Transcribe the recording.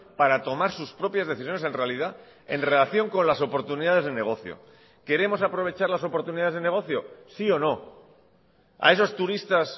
para tomar sus propias decisiones en realidad en relación con las oportunidades de negocio queremos aprovechar las oportunidades de negocio sí o no a esos turistas